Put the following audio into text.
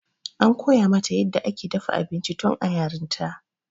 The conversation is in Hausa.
an koya mata yadda ake dafa abinci tun a yarinta